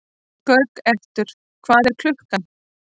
Gautrekur, hvað er klukkan?